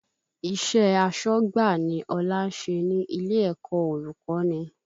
Iṣẹ́ asọ́gbà ni Ọlá ń ṣe ní ilé ẹ̀kọ́ olùkọ́ni